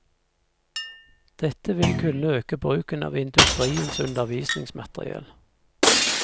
Dette vil kunne øke bruken av industriens undervisningsmateriell.